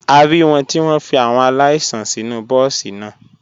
A rí wọn tí wọ́n fi àwọn aláìsàn sínú bọ́ọ̀sì náà.